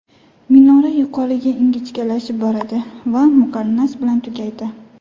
Minora yuqoriga ingichkalashib boradi va muqarnas bilan tugaydi.